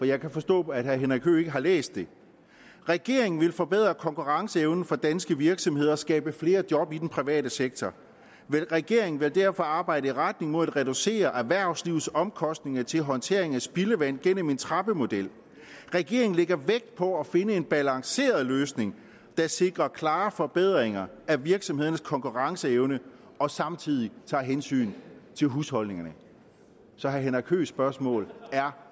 jeg kan forstå at herre henrik høegh ikke har læst det regeringen vil forbedre konkurrenceevnen for danske virksomheder og skabe flere job i den private sektor regeringen vil derfor arbejde i retning mod at reducere erhvervslivets omkostninger til håndtering af spildevand gennem en trappemodel regeringen lægger vægt på at finde en balanceret løsning der sikrer klare forbedringer af virksomhedernes konkurrenceevne og samtidig tager hensyn til husholdningerne så herre henrik høeghs spørgsmål er